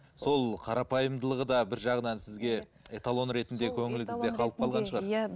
сол қарапайымдылығы да бір жағынан сізге эталон ретінде